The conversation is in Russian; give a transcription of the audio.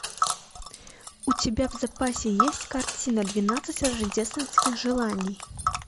у тебя в запасе есть картина двенадцать рождественских желаний